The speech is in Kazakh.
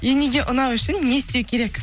енеге ұнау үшін не істеу керек